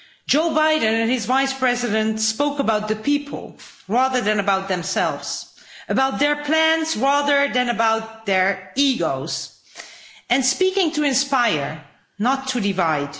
Joe Biden and his Vice President spoke about the people rather than about themselves, about their plans rather than their egos, and they spoke to inspire, not to divide.